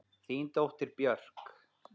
Þín dóttir, Björk.